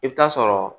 I bɛ taa sɔrɔ